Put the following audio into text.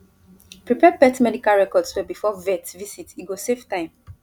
prepare pet medical records well before vet visit e go save time